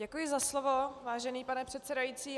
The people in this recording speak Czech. Děkuji za slovo, vážený pane předsedající.